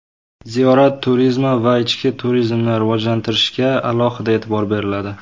Ziyorat turizmi va ichki turizmni rivojlantirishga alohida e’tibor beriladi.